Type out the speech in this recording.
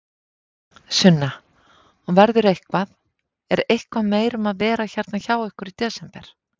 Sunna: Og verður eitthvað, er eitthvað meira um að vera hérna hjá ykkur í desember?